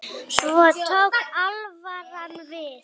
Svo tók alvaran við.